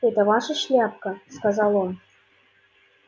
это ваша шляпка сказал он